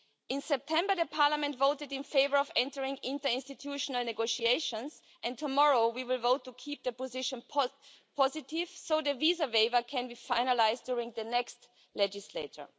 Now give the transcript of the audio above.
In September, Parliament voted in favour of entering into interinstitutional negotiations, and tomorrow we will vote to keep the position positive, so the visa waiver can be finalised during the next legislature.